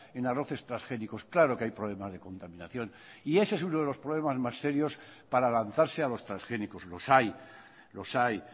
en arroces transgénicos claro que hay problemas de contaminación y ese es uno de los problemas más serios para lanzarse a los transgénicos los hay los hay